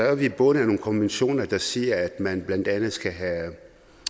er vi bundet af nogle konventioner der siger at man blandt andet skal have